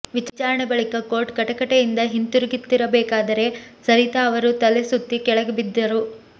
ವಿಚಾರಣೆ ಬಳಿಕ ಕೋರ್ಟ್ ಕಟಕಟೆಯಿಂದ ಹಿಂತಿರುಗುತ್ತಿರಬೇಕಾದರೆ ಸರಿತಾ ಅವರು ತಲೆಸುತ್ತಿ ಕೆಳಗೆ ಬಿದ್ದರು